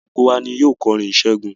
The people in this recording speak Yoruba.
Gbogbo wa ni yóò kọrin ìṣẹ́gun.